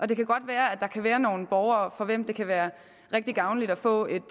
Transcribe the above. det kan godt være at der kan være nogle borgere for hvem det kan være rigtigt gavnligt at få et